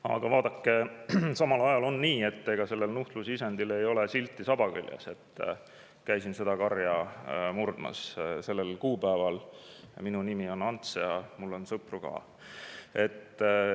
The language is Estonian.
Aga vaadake, samal ajal on nii, et ega sellel nuhtlusisendil ei ole saba küljes silti "Käisin seda karja murdmas sellel kuupäeval, minu nimi on Ants ja mul on sõpru ka".